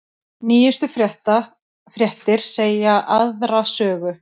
Nýjustu fréttir segja aðra sögu